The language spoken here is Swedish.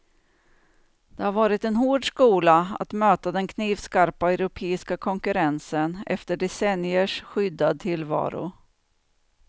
Det har varit en hård skola att möta den knivskarpa europeiska konkurrensen efter decenniers skyddad tillvaro.